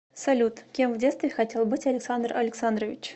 салют кем в детстве хотел быть александр александрович